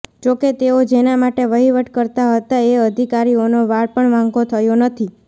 જો કે તેઓ જેના માટે વહીવટ કરતાં હતાં એ અધિકારીઓનો વાળ પણ વાંકો થયો નથી